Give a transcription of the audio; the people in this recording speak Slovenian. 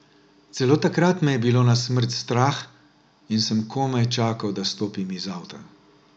Celo takrat me je bilo na smrt strah in sem komaj čakala, da stopim iz avta.